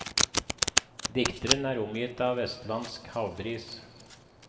Dikteren er omgitt av vestlandsk havbris.